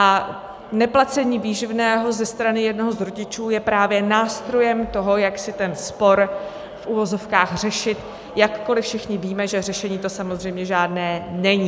A neplacení výživného ze strany jednoho z rodičů je právě nástrojem toho, jak si ten spor v uvozovkách řešit, jakkoli všichni víme, že řešení to samozřejmě žádné není.